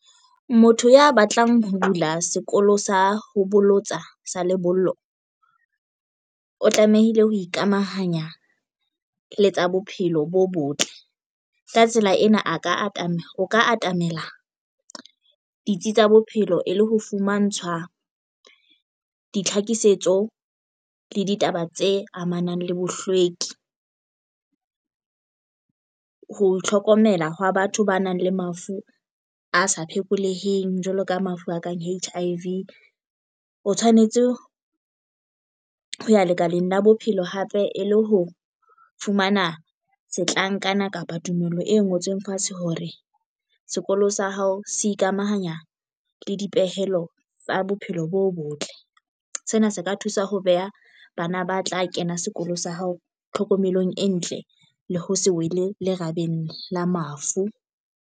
Motho ya batlang ho bula sekolo sa ho bolotsa sa lebollo o tlamehile ho ikamahanya le tsa bophelo bo botle ka tsela ena a ka atamela o ka atamela ditsi tsa bophelo e le ho fumantshwa ditlhakisetso le ditaba tse amanang le bohlweki. Ho itlhokomela hwa batho ba nang le mafu a sa phekoleheng jwaloka mafu a kang H_I_V o tshwanetse ho ya lekaleng la bophelo hape e le ho fumana setlankana kapa tumello e ngotsweng fatshe hore sekolo sa hao se ikamahanya le dipehelo tsa bophelo bo botle sena se ka thusa ho beha bana ba tla kena sekolo sa hao tlhokomelong e ntle le ho se wele lerabeng la mafu.